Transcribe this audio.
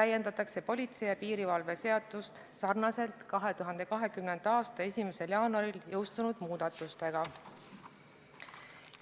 täiendatakse politsei ja piirivalve seadust sarnaselt 2020. aasta 1. jaanuaril jõustunud muudatustega.